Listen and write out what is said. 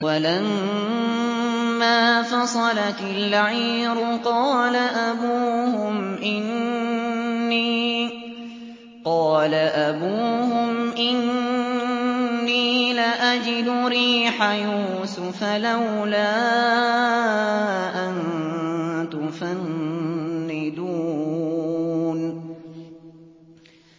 وَلَمَّا فَصَلَتِ الْعِيرُ قَالَ أَبُوهُمْ إِنِّي لَأَجِدُ رِيحَ يُوسُفَ ۖ لَوْلَا أَن تُفَنِّدُونِ